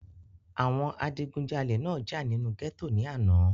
àwọn adigúnjalè náà jà nínú gẹ́tò ní àná